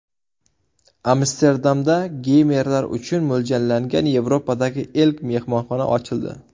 Amsterdamda geymerlar uchun mo‘ljallangan Yevropadagi ilk mehmonxona ochildi.